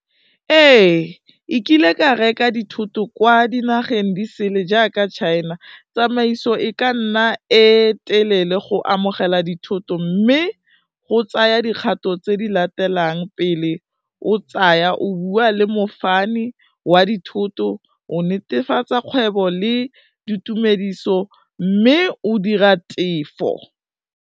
Ee e kile ka reka dithoto kwa dinageng di sele jaaka China, tsamaiso e ka nna e telele go amogela dithoto, mme go tsaya dikgato tse di latelang pele o tsaya o bua le mofani wa dithoto, o netefatsa kgwebo le ditumediso mme o dira tefo.